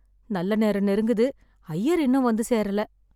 நல்ல நேரம் நெருங்குது. அய்யர் இன்னும் வந்து சேரல.